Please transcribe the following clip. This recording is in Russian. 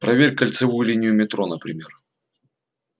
проверь кольцевую линию метро например